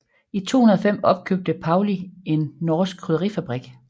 I 2005 opkøbte Paulig en norsk krydderifabrik